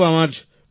প্রেম জী হ্যাঁ